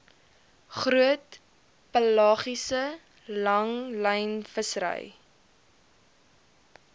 groot pelagiese langlynvissery